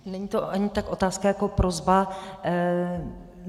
Není to ani tak otázka jako prosba.